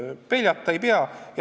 Pelgama ei pea.